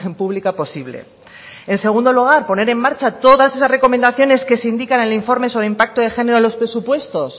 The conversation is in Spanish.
pública posible en segundo lugar poner en marcha todas esas recomendaciones que se indican en el informe sobre el impacto de género a los presupuestos